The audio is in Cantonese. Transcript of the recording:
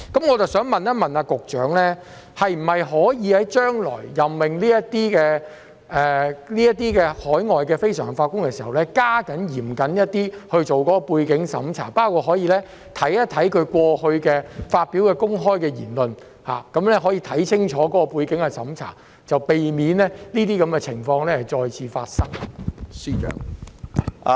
我想問局長，是否可以在將來任命這些海外非常任法官時，加緊進行嚴謹的背景審查，包括翻查他們過去發表的公開言論，作清楚的背景審查，避免這些情況再次發生？